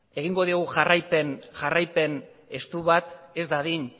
egingo diogu jarraipen estu bat ez dadin